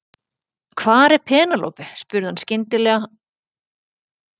Hvar er Penélope spurði hann skyndilega og tók í öxlina á Toshizo Tanabe.